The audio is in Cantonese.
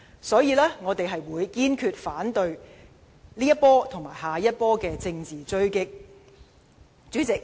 所以，我們堅決反對這一波和下一波的政治追擊。